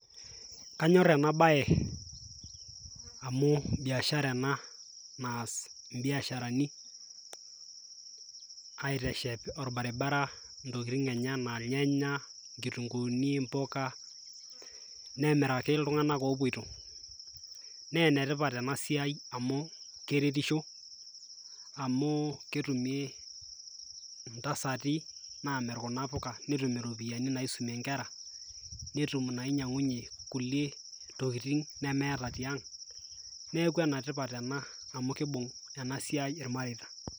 kanyor ena bae, amu biashara ena naas ibiasharani aiteshep olbaribara intokitin enye anaa irnyanay, inkitunkuuni, impuka, nemiraki iltunganak opoito. naa ene tipat ena siai amu keretisho amu ketumi intasati naamir kuna puka, netum iropiyiani naisumie nkera, netum inainyiang'uenye kulie tokitin nemeeta tiang'.neeku ene tipat ena amu kibung' ena siai ilmareita.